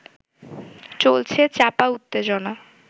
চলেছে চাপা উত্তেজনা